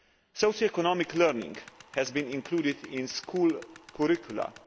Socio economic learning has been included in school curricula.